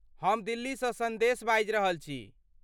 हम दिल्लीसँ सन्देश बाजि रहल छी।